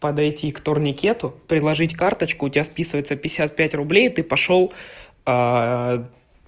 подойти к турникету приложить карточку у тебя списываются пятьдесят пять рублей и ты пошёл